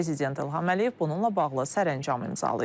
Prezident İlham Əliyev bununla bağlı sərəncam imzalayıb.